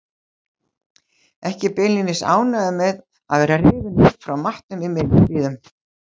Ekki beinlínis ánægður með að vera rifinn upp frá matnum í miðjum klíðum.